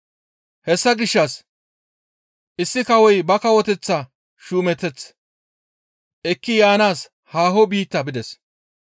Hessa gishshas, «Issi kawoy ba kawoteththa shuumeteth ekki yaanaas haaho biitta bides.